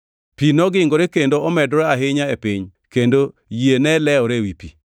Pi nogingore kendo omedore ahinya e piny kendo yie ne lewore ewi pi.